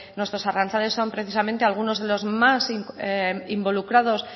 nuestros arrantzales son precisamente algunos de los más involucrados